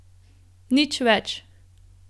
Nič več.